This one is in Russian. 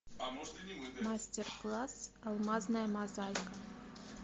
мастер класс алмазная мозаика